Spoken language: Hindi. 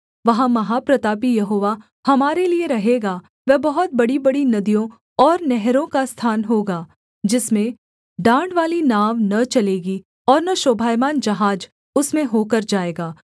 वहाँ महाप्रतापी यहोवा हमारे लिये रहेगा वह बहुत बड़ीबड़ी नदियों और नहरों का स्थान होगा जिसमें डाँडवाली नाव न चलेगी और न शोभायमान जहाज उसमें होकर जाएगा